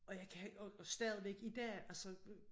Og jeg kan og og stadigvæk i dag altså